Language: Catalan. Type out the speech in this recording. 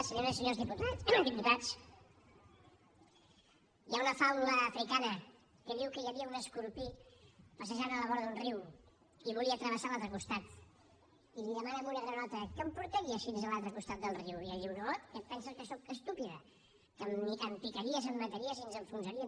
senyores i senyors diputats hi ha una faula africana que diu que hi havia un escorpí passejant a la vora d’un riu i volia travessar a l’altre costat i li demana a una granota que em portaries fins a l’altre costat del riu i ella diu no que et penses que sóc estúpida que em picaries em mataries i ens enfonsaríem